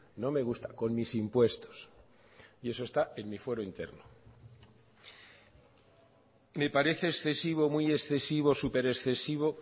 no me gusta con mis impuestos y eso está en mi fuero interno me parece excesivo muy excesivo súper excesivo